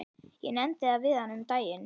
Ég nefndi það við hana um daginn.